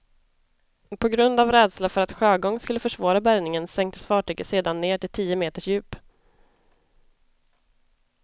På grund av rädsla för att sjögång skulle försvåra bärgningen sänktes fartyget sedan ned till tio meters djup.